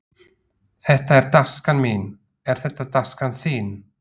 Þetta er taskan mín. Er þetta taskan þín?